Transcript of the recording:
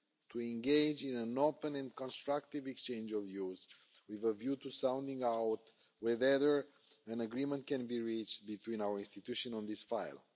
to engage in an open and constructive exchange of views with a view to sounding out whether an agreement can be reached between our institutions on this file.